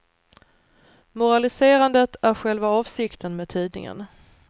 Moraliserandet är själva avsikten med tidningen.